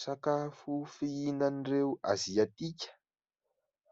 Sakafo fihinan'ireo aziatika